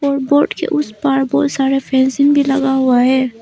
और बोर्ड के उस पार बहोत सारा फेंसिंग भी लगा हुआ है।